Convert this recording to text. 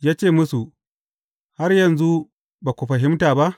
Ya ce musu, Har yanzu ba ku fahimta ba?